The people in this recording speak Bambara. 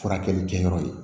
Furakɛli kɛyɔrɔ ye